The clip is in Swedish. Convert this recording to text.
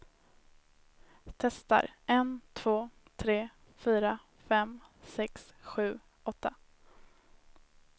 Testar en två tre fyra fem sex sju åtta.